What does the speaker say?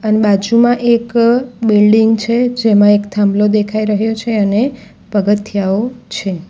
અન બાજુમાં એક અ બિલ્ડીંગ છે જેમાં એક થાંભલો દેખાઈ રહ્યો છે અને પગથિયાઓ છે.